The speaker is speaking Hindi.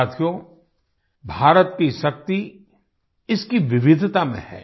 साथियो भारत की शक्ति इसकी विविधता में है